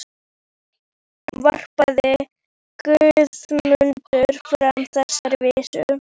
Þá varpaði Guðmundur fram þessari vísu: